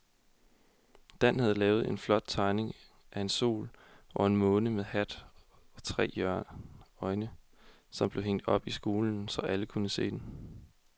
Dan havde lavet en flot tegning af en sol og en måne med hat og tre øjne, som blev hængt op i skolen, så alle kunne se den.